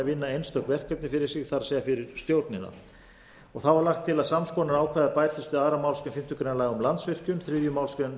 vinna einstök verkefni fyrir sig það er fyrir stjórnina þá er lagt til að sams konar ákvæði bætist við aðra málsgrein fimmtu grein laga um landsvirkjun þriðju málsgrein